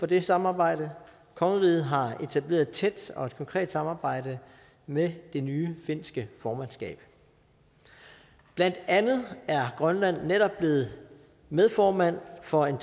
det samarbejde kongeriget har etableret et tæt og konkret samarbejde med det nye finske formandskab blandt andet er grønland netop blevet medformand for en